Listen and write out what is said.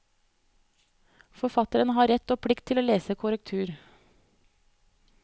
Forfatteren har rett og plikt til å lese korrektur.